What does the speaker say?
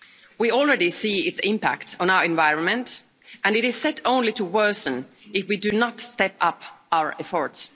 We already see its impact on our environment and it is set only to worsen if we do not step up our efforts.